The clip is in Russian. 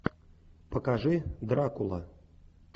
покажи дракула